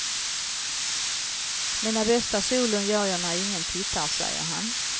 Mina bästa solon gör jag när ingen tittar, säger han.